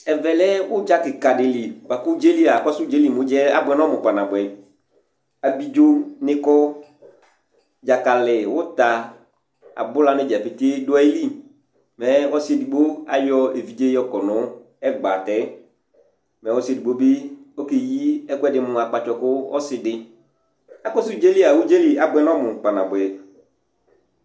Ɛvɛ lɛ ʋdza kɩka dɩ li bʋa kʋ ʋdza yɛ li a, akɔsʋ ʋdza yɛ li mɛ abʋɛ nʋ ɔmʋ kpanabʋɛ Abidzonɩ kɔ, dzakalɩ, ʋta, abʋla dza petee dʋ ayili Mɛ ɔsɩ edigbo ayɔ evidze yɔkɔ nʋ ɛgbatɛ Mɛ ɔsɩ edigbo bɩ ɔkeyi ɛkʋɛdɩ mʋ akpatsɔ kʋ ɔsɩ dɩ Akɔsʋ ʋdza yɛ li a, ʋdza yɛ li abʋɛ nʋ ɔmʋ kpanabʋɛ